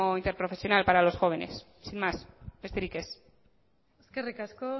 interprofesional para los jóvenes sin más besterik ez eskerrik asko